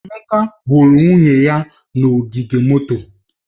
Emeka huru nwunye ya n'ogige moto